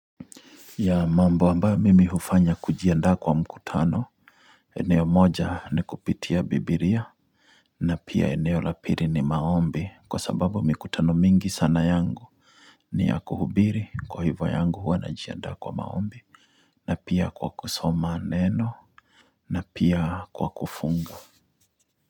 Ya mambo amabyo mimi hufanya kujiandaa kwa mkutano, eneo moja ni kupitia bibilia, na pia eneo la pili ni maombi kwa sababu mikutano mingi sana yangu, ni ya kuhubiri kwa hivyo yangu huwa najiandaa kwa maombi, na pia kwa kusoma neno, na pia kwa kufunga.